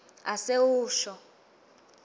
asewusho